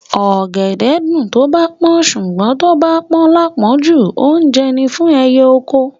Ọ̀gẹ̀dẹ̀ ẹ́ dùn tó bá pọ́n, ṣùgbọ́n tó bá pọ́n láàpọ́njù, oúnjẹ ni fún ẹyẹ oko.